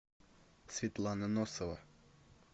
светлана носова